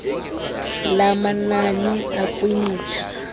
lamanani akwi mitha